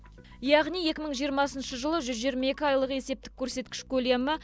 яғни екі мың жиырмасыншы жылы жүз жиырма екі айлық есептік көрсеткіш көлемі